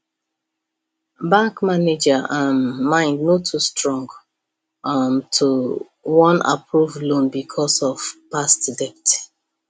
bank manager um mind no too strong um to wan approve loan because of past debt